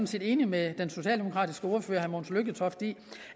set enig med den socialdemokratiske ordfører herre mogens lykketoft i